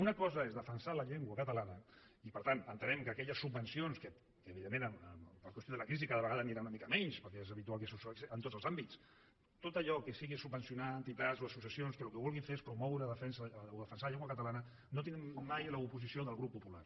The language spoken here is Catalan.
una cosa és defensar la llengua catalana i per tant entenem que aquelles subvencions que evidentment per qüestió de la crisi cada vegada aniran a una mica menys perquè és habitual que succeeixi en tots els àmbits tot allò que sigui subvencionar entitats o associacions que el que vulguin fer és promoure o defensar la llengua catalana no tindran mai l’oposició del grup popular